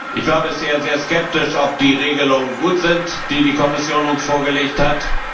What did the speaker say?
Ich war aber sehr skeptisch, ob die Regelungen gut sind, die die Kommission uns vorgelegt hat.